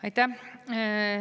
Aitäh!